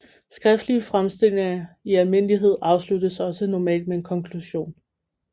Skriftlige fremstillinger i almindelighed afsluttes også normalt med en konklusion